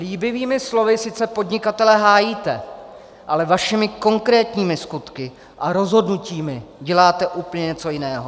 Líbivými slovy sice podnikatele hájíte, ale svými konkrétními skutky a rozhodnutími děláte úplně něco jiného.